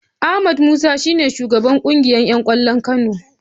Ahmed Musa shi ne shugaban kungiyar ’yan kwallon Kano.